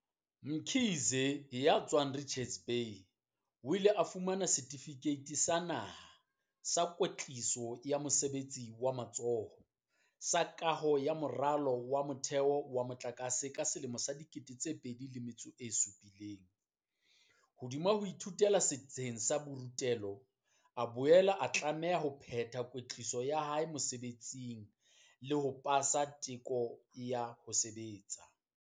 Mkhize, ya tswang Richards Bay, o ile a fumana Setifikeiti sa Naha, Sa Kwetliso ya Mosebetsi wa Matsoho, sa Kaho ya Moralo wa Motheo wa Motlakase ka 2017.Hodima ho ithutela setsheng sa borutelo, o la boela a tlameha ho phethela kwetliso ya hae mosebetsing le ho pasa teko ya ho sebetsa.